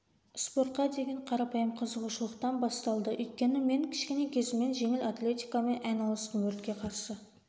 спортқа деген қарапайым қызығушылықтан басталды өйткені мен кішкене кезімнен жеңіл атлетикамен айналыстым өртке қарсы